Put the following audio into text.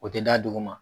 O tɛ da dugu ma